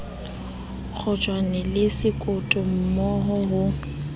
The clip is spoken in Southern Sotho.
kgotjwane le sekoto mmo ho